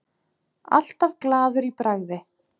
Alltaf glaður í bragði.